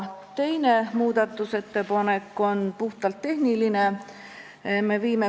Teine muudatusettepanek on puhtalt tehniline.